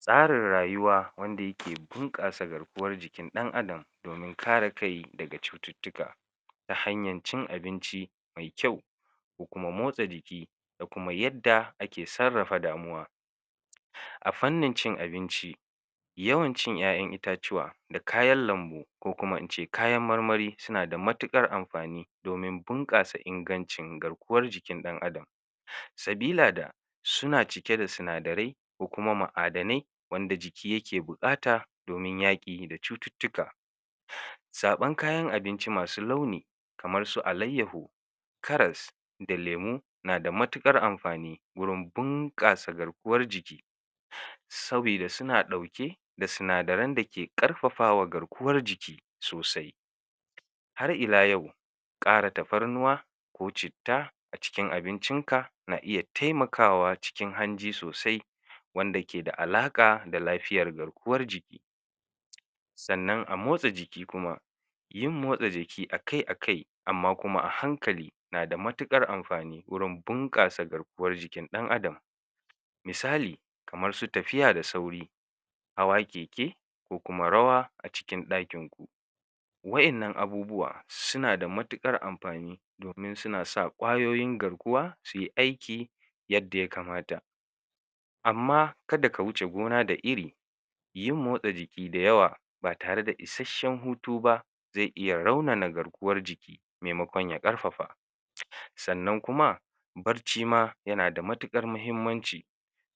tsarin rayuwa wanda yake bunƙasa garkuwar jikin ɗan adam domin kare kai daga cututtuka ta hanyar cin abinci me kyau da kuma motsa jiki da kuma yadda ake sarrafa damuwa a fannin cin abinci yawan cin kayan itatuwa da kayan lambu ko kuma ince kayan marmari suna da matuƙar amfani domin bunƙasa ingancin garkuwar jikin ɗan adam sabila da suna cike da sinadarai ko kuma ma'adanai wanda jiki yake buƙata domin yaƙi da cututtuka zaɓan kayan abinci masu launi kaman su alayyahu karas da lemo nada matuƙar amfani gurin bunƙasa garkuwar jiki sabida suna ɗauke da sinadaran dake ƙarfafawa garkuwar jiki sosai har ila yau ƙara tafarnuwa ko citta a cikin abincin ka na iya taimakawa cikin hanji sosai wanda keda alaƙa da lafiyar garkuwar jiki sannan a motsa jiki kuma yin motsa jiki akai akai amma kuma a hankali na da matuƙar amfani wajan bunƙasa garkuwar jikin ɗan adam misali kamar su tafiya da sauri hawa keke ko kuma rawa a cikin ɗakin ku waƴanna abubuwa sunada matuƙar amfani domin suna sa ƙwayoyin garkuwa suyi aiki yadda ya kamata amma kada ka wuce gona da iri yin motsa jiki da yawa ba tare da isashshan hutu ba ze iya raunana garkuwar jiki maimakon ya ƙarfafata sannan kuma bacci ma yana da matuƙar muhimmanci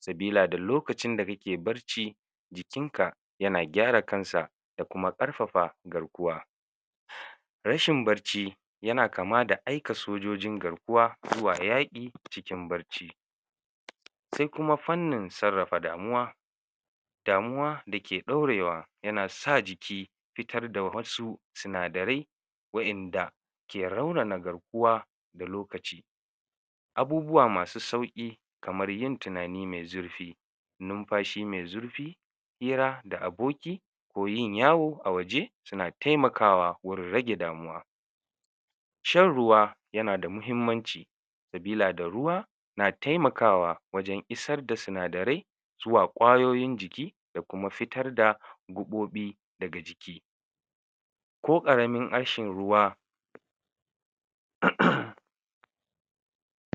sabilada lokacin da kake barci jikin ka yana gyara kansa da kuma da kuma ƙarfafa garkuwa rashin barci yana kama da aika sojojin garkuwa zuwa yaƙi a cikin barci se kuma fannin sarrafa damuwa damuwa dake ɗaurewa yana sa jiki fitar da wasu sinadarai waƴanda ke raunana garkuwa da lokaci abubuwa masu sauƙi kamar yin tinani me zurfi numfashi me zurfi hira da aboki ko yin yawo a waje suna taimakawa gurin rage damuwa shan ruwa yanada muhimmanci sabila da ruwa yana taimakawa wajan isar da sinadarai zuwa ƙwayoyin jiki da kuma fitar da gubobi daga jiki ko ƙaramin ashin ruwa um